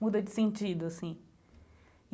muda de sentido, assim.